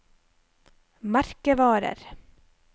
merkevarer